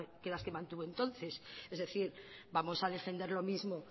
que las que mantuvo entonces es decir vamos a defender lo mismo